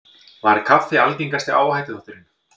Var kaffi algengasti áhættuþátturinn